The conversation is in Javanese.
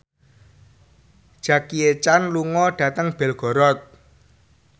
Jackie Chan lunga dhateng Belgorod